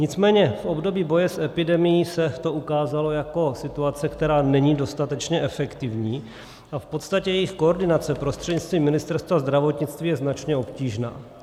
Nicméně v období boje s epidemií se to ukázalo jako situace, která není dostatečně efektivní, a v podstatě jejich koordinace prostřednictvím Ministerstva zdravotnictví je značně obtížná.